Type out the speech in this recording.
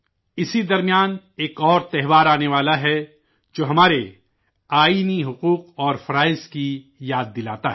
اسی دوران ایک اور تہوار آنے والا ہے جو ہمارے آئینی حقوق اور فرائض کی یاد دلاتا ہے